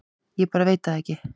Ég bara veit það ekki